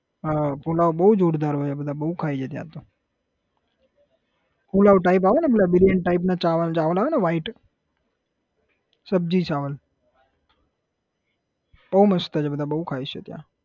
હા પુલાવ બહુ જોરદાર હોય બધા બહુ ખાય હે ત્યાં તો પુલાવ type આવે ને બિરિયાની type આવે ને ચાવલ ચાવલ આવે ને white સબ્જી ચાવલ બહુ મસ્ત છે બધા બહુ ખાય છે ત્યાં